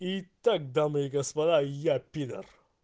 итак дамы и господа я пидор